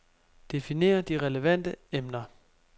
Definer de relevante emner.